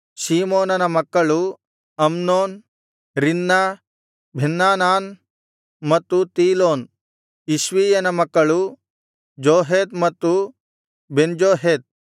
ಶೀಮೋನನ ಮಕ್ಕಳು Amnon Rinnah Benhanan ಮತ್ತು Tilon ಇಷ್ಷೀಯನ ಮಕ್ಕಳು ಜೋಹೇತ್ ಮತ್ತು ಬೆನ್ಜೊಹೇತ್